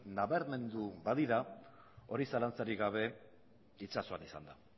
nabarmendu badira hori zalantzarik gabe itsasoan izan da